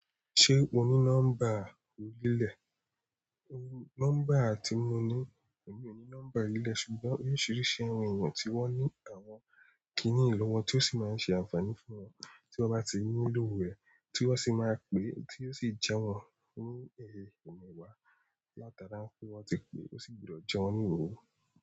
Se oni nọ́mbà orilẹ nọ́mbà tí mo ní, èmi ò ní nọ́mbà orilẹ ṣùgbọ́n oríṣìíríṣìí àwọn ènìyàn tí wọ́n ní àwọn kìíní yi lọwọ tó sì máa ń ṣe ànfàní fún wọn tí wọ́n bá ti nílò rẹ̀, tí wọ́n sì máa pè, tí ó sì jẹ́ wọ́n ní ẹmẹẹwa Latara n pé wọ́n ti pè, ó sì gbúdọ̀ jẹ wọ́n ní oho.